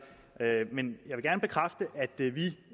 men jeg vil gerne bekræfte